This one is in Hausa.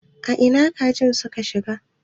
Ina kajin suka shiga?